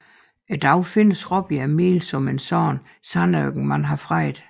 I dag findes Råbjerg Mile som en sådan sandørken man har fredet